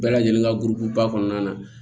Bɛɛ lajɛlen ka gurukuba kɔnɔna na